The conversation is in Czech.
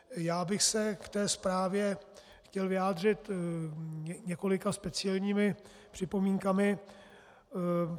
Já bych se k té zprávě chtěl vyjádřit několika speciálními připomínkami.